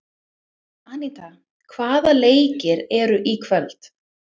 Aníta, hvaða leikir eru í kvöld?